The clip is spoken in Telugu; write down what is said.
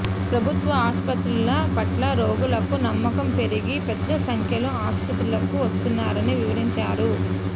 ప్రభుత్వ ఆసుపత్రుల పట్ల రోగులకు నమ్మకం పెరిగి పెద్ద సంఖ్యలో ఆసుపత్రులకు వస్తున్నారని వివరించారు